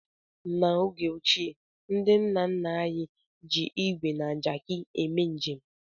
N'oge ochie, ndị nna nna anyị ji ígwè na Jaki eme njem.